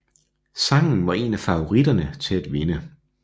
Sangen var en af favoritterne til at vinde